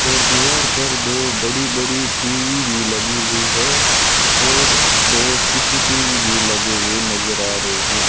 और दीवार पर दो बड़ी बड़ी टी_वी भी लगी हुई है और दो सी_सी_टी_वी भी लगे हुए नजर आ रहे हैं।